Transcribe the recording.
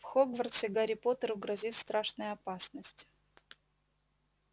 в хогвартсе гарри поттеру грозит страшная опасность